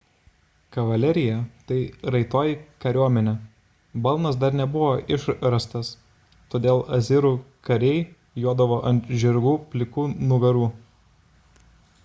kavalerija – tai raitoji kariuomenė balnas dar nebuvo išrastas todėl asirų kariai jodavo ant žirgų plikų nugarų